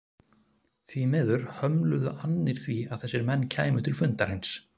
Því miður hömluðu annir því að þessir menn kæmu til fundarins.